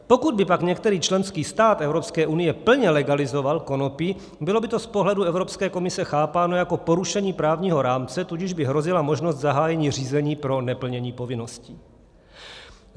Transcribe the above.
Pokud by pak některý členský stát Evropské unie plně legalizoval konopí, bylo by to z pohledu Evropské komise chápáno jako porušení právního rámce, tudíž by hrozila možnost zahájení řízení pro neplnění povinností.